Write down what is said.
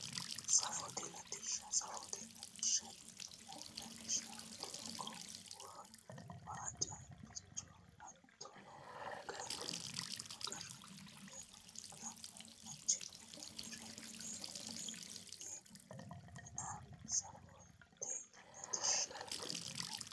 Safote latishsha safote latishshaati yineemmohu lawishshaho doogo waa caabbicho hattono qarramino woyi anga ajjino mannira mine mina safote latishsha yineemmo